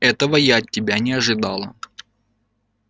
этого я от тебя не ожидала